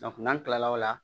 n'an kilala o la